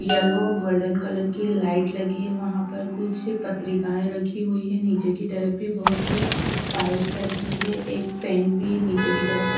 yellow और golden colour की light लगी है वहां पर कुछ पत्रिकाएं रखी हुईं हैं नीचे की तरफ भी बहोत सी फाइल्स रखी है एक फैन भी नीचे की तरफ रख--